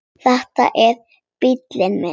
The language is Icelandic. Þetta er bíllinn minn